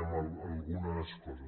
algunes coses